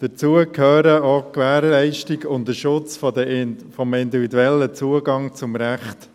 Dazu gehören auch die Gewährleistung und der Schutz des individuellen Zugangs zum Recht.